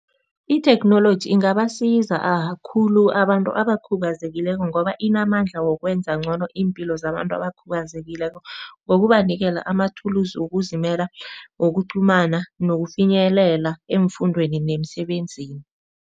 Itheknoloji ingabasiza khulu abantu abakhubazekileko, ngoba inamandla wokwenza ncono iimpilo zabantu abakhubazekileko ngokubanikela amathulusi wokuzimela, wokuqhumana nokufinyelela eemfundweni nemisebenzini.